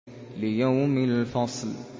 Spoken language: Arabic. لِيَوْمِ الْفَصْلِ